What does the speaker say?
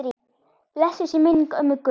Blessuð sé minning ömmu Gunn.